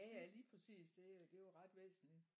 Jaja lige præcis det det er jo ret væsentligt